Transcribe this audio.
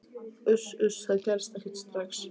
Uss, uss, það gerist ekkert strax.